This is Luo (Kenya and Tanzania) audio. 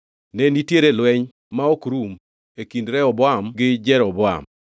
Ne nitiere lweny ma ok rum e kind Rehoboam gi Jeroboam.